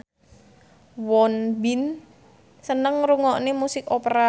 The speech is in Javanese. Won Bin seneng ngrungokne musik opera